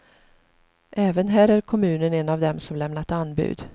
Även här är kommunen en av dem som lämnat anbud.